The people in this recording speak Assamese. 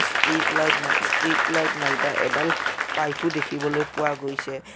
ষ্ট্ৰিট লাইট না ষ্ট্ৰিট লাইট নাইবা এডাল পাইপো দেখিবলৈ পোৱা গৈছে।